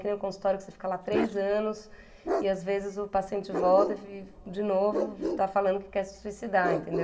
Que nem o consultório que você fica lá três anos e às vezes o paciente volta e de novo está falando que quer se suicidar, entendeu?